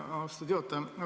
Aitäh, austatud juhataja!